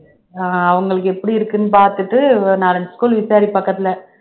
ஆஹ் அவங்களுக்கு எப்படி இருக்குன்னு பார்த்துட்டு ஒரு நாலஞ்சு school விசாரி பக்கத்துல